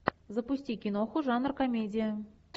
запусти киноху жанр комедия